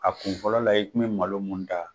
A kun fɔlɔ la i kun bi malo mun ta.